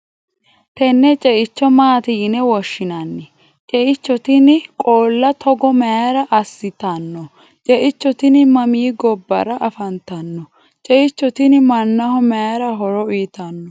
tenne ceicho maati yine woshshinani? ceicho tini qoola togo mayiira assitanno? ceicho tini mami gobbara afantanno? ceicho tini mannnaho mayii horo uyiitanno?